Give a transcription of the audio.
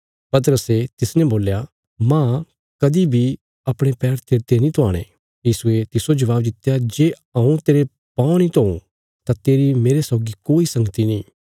पतरसे तिसने बोल्या मांह कदीं बी अपणे पैर तेरते नीं धुआणे यीशुये तिस्सो जवाब दित्या जे हऊँ तेरे पाँव नीं धोऊं तां तेरी मेरे सौगी कोई संगती नीं